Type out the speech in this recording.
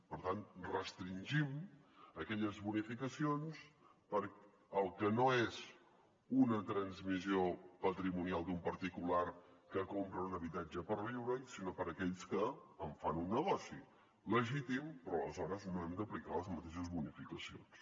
per tant restringim aquelles bonificacions per al que no és una transmissió patrimonial d’un particular que compra un habitatge per viure hi sinó per aquells que en fan un negoci legítim però aleshores no hem d’aplicar les mateixes bonificacions